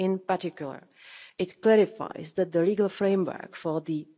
In particular it clarifies that the legal framework for the